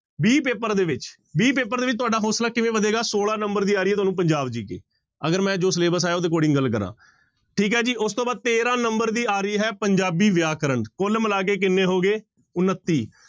b paper ਦੇ ਵਿੱਚ b paper ਦੇ ਵਿੱਚ ਤੁਹਾਡਾ ਹੌਸਲਾ ਕਿਵੇਂ ਵਧੇਗਾ ਛੋਲਾਂ number ਦੀ ਆ ਰਹੀ ਹੈ ਤੁਹਾਨੂੰ ਪੰਜਾਬ GK ਅਗਰ ਮੈਂ ਜੋ syllabus ਹੈ ਉਹਦੇ according ਗੱਲ ਕਰਾਂ, ਠੀਕ ਹੈ ਜੀ ਉਸ ਤੋਂ ਬਾਅਦ ਤੇਰਾਂ number ਦੀ ਆ ਰਹੀ ਹੈ ਪੰਜਾਬੀ ਵਿਆਕਰਨ, ਕੁਲ ਮਿਲਾ ਕੇ ਕਿੰਨੇ ਹੋ ਗਏ ਉਣੱਤੀ।